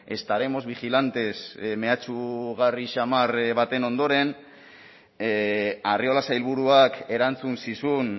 estaremos vigilantes mehatxugarri samar baten ondoren arriola sailburuak erantzun zizun